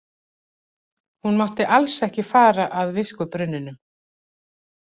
Hún mátti alls ekki fara að viskubrunninum.